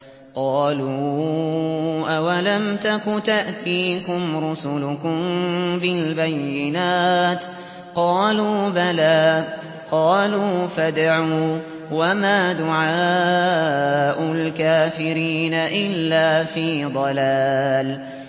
قَالُوا أَوَلَمْ تَكُ تَأْتِيكُمْ رُسُلُكُم بِالْبَيِّنَاتِ ۖ قَالُوا بَلَىٰ ۚ قَالُوا فَادْعُوا ۗ وَمَا دُعَاءُ الْكَافِرِينَ إِلَّا فِي ضَلَالٍ